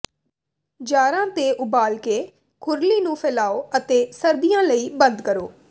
ਜਾਰਾਂ ਤੇ ਉਬਾਲ ਕੇ ਖੁਰਲੀ ਨੂੰ ਫੈਲਾਓ ਅਤੇ ਸਰਦੀਆਂ ਲਈ ਬੰਦ ਕਰੋ